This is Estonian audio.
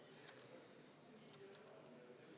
Austatud Riigikogu!